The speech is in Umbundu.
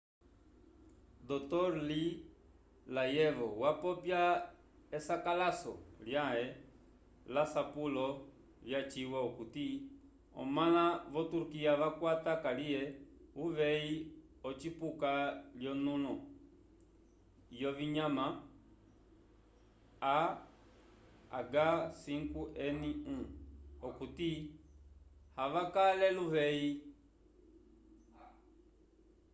dr. lee layevo wapopya esakalaso lyãhe lasapulo vyaciwa okuti omãla vo-turkiya vakwata kaliye uveyi wocipuka lyonũlo yovinyama a h5n1 okuti avakale luveyi